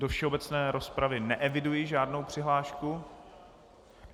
Do všeobecné rozpravy neeviduji žádnou přihlášku.